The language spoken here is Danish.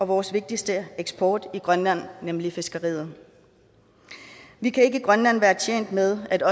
vores vigtigste eksport i grønland nemlig fiskeriet vi kan ikke i grønland være tjent med at